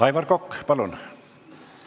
Aivar Kokk, palun!